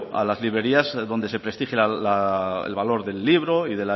a las librerías donde se prestigie el valor del libro y